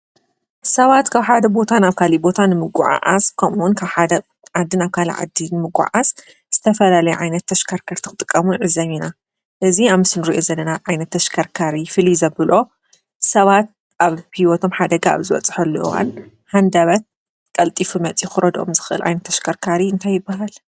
ሰባት ካብ ሓደ ቦታን ኣብ ካሊ ቦታን ምጐዓዓስ ቆምውን ካብ ሓደ ዓድን ኣብ ካል ዓዲን ምጐዓስ ዝተፈላለይ ኣይነት ተሽካርከርት ኽጥቀሙን ንዕብ እና እዝ ኣም ስንር እየ ዘንና ኣይነት ተሽከርካሪ ፊል ዘብሎ ሰባት ኣብ ፑይወቶም ሓደጋ ኣብ ዘወጽሖለዋን ሓንዳበት ቀልጢፊ መጺ ዂረዶኦም ዝኽል ኣይነተ ኣሽከርካሪ እንተይበሃለ?